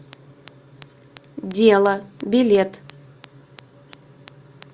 дело билет